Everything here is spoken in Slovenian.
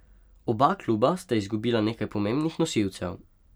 Oba kluba sta izgubila nekaj pomembnih nosilcev.